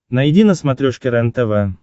найди на смотрешке рентв